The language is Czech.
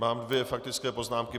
Mám dvě faktické poznámky.